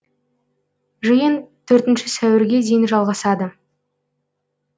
жиын төртінші сәуірге дейін жалғасады